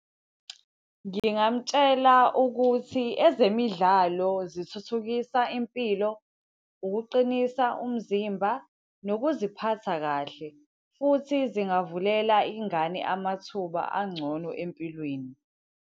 Ngingamtshela ukuthi ezemidlalo zithuthukiswa impilo, ukuqinisa umzimba, nokuziphatha kahle. Futhi zingavulela ingane amathuba angcono empilweni.